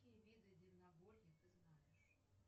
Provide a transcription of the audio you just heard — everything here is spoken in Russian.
какие виды дивногорья ты знаешь